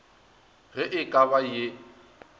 ge e ka ba ye